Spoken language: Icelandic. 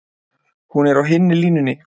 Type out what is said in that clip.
Hún er á hinni línunni.